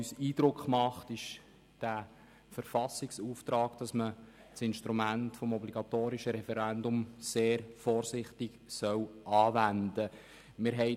Uns macht der Verfassungsauftrag den Eindruck, dass man das Instrument des obligatorischen Referendums sehr vorsichtig anwenden soll.